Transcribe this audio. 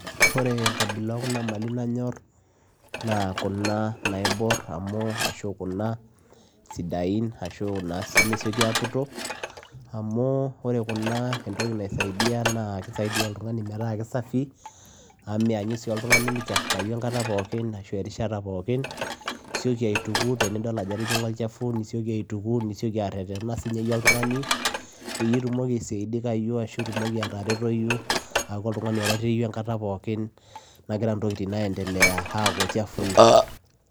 Ore enkabila oo kuna Mali nanyorr naa kuna naibor umuu ninje isidain amuu ninje nimesiokii aaputoo amuu kisaidia oltunganii meetaa safii amuu meenyu oltunganii michafukayu orishataa pookin neeku isiokii aaitukuu tenidol ajoo etijinga olchafuu nisiokii aretena peyiee itumokii atereretenayu enkata pookin